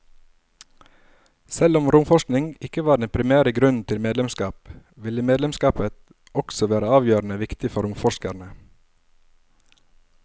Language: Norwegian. Selv om romforskning ikke var den primære grunnen til medlemskap, ville medlemskapet også være avgjørende viktig for romforskerne.